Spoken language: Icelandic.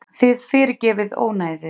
Þið fyrirgefið ónæðið.